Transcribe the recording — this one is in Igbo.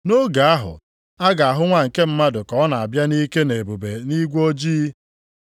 Nʼoge ahụ, a ga-ahụ Nwa nke Mmadụ ka ọ na-abịa nʼike na ebube nʼigwe ojii.